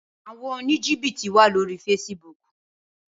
Awòn ónìjíbìtí wá lóri fésibúk